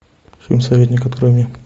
фильм советник открой мне